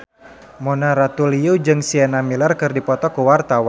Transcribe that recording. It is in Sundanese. Mona Ratuliu jeung Sienna Miller keur dipoto ku wartawan